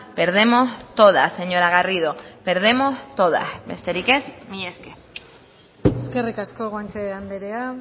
perdemos todas señora garrido perdemos todas besterik ez mila esker eskerrik asko guanche andrea